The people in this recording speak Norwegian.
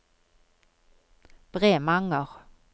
Bremanger